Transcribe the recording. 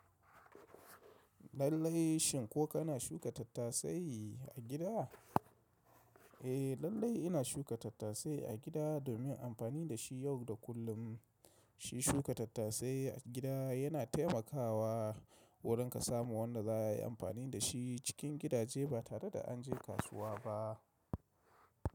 Lallai shin ko kana shuka tattasai a gida? Eh lallai ina shuka tattasai a gida domin amfani da shi yau da kullum. Shi shuka tattasai a gida yana taimakawa wurin ka samu wanda za a yi amfani da shi cikin gidaje ba tare da an je kasuwa ba.